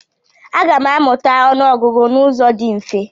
Aga m amụta ọnụọgụgụ n'ụzọ dị mfe?